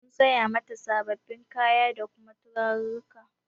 Mu saya mata sabin kayan bacci da kuma turarurruka